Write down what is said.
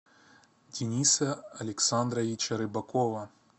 дениса александровича рыбакова